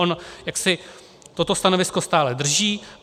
On jaksi toto stanovisko stále drží.